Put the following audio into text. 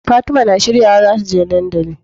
Fatima na shirya wa zata je dandali